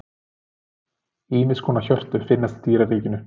Ýmiss konar hjörtu finnast í dýraríkinu.